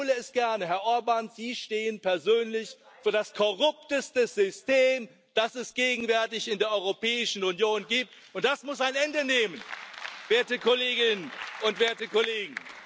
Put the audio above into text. Ich wiederhole es gerne Herr Orbán, Sie stehen persönlich für das korrupteste System, das es gegenwärtig in der Europäischen Union gibt, und das muss ein Ende nehmen, werte Kolleginnen und Kollegen!